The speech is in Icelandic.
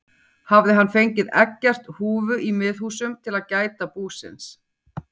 Hafði hann fengið Eggert húfu í Miðhúsum til að gæta búsins.